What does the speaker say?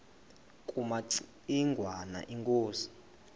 kumaci ngwana inkosi